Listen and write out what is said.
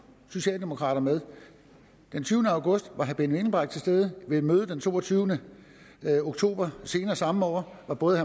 socialdemokrater med den tyvende august var herre benny engelbrecht til stede og ved et møde den toogtyvende oktober senere samme år var både